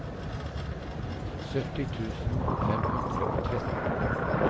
sytti tusen fem hundre og tretten